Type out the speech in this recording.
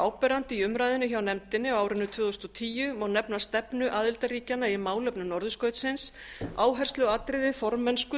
áberandi í umræðunni hjá nefndinni á árinu tvö þúsund og tíu má nefna stefnu aðildarríkjanna í málefnum norðurskautsins áhersluatriði formennsku